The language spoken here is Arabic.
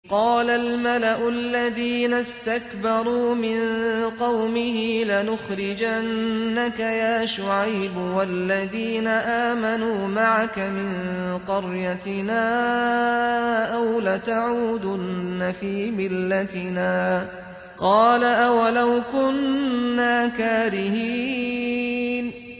۞ قَالَ الْمَلَأُ الَّذِينَ اسْتَكْبَرُوا مِن قَوْمِهِ لَنُخْرِجَنَّكَ يَا شُعَيْبُ وَالَّذِينَ آمَنُوا مَعَكَ مِن قَرْيَتِنَا أَوْ لَتَعُودُنَّ فِي مِلَّتِنَا ۚ قَالَ أَوَلَوْ كُنَّا كَارِهِينَ